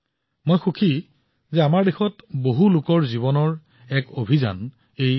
মই সুখী যে দেশৰ বহুলোকে পানী সংৰক্ষণক জীৱনৰ অভিযান হিচাপে গ্ৰহণ কৰিছে